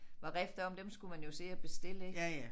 Var rift om dem skulle man jo se og bestille ik